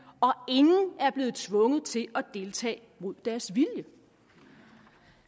og ingen er blevet tvunget til at deltage mod deres vilje